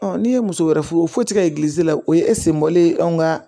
n'i ye muso wɛrɛ furu foti ka la o ye anw ka